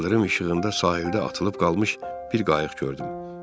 İldırım işığında sahildə atılıb qalmış bir qayıq gördüm.